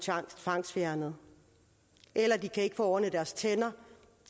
tvangsfjernet eller de kan ikke få ordnet deres tænder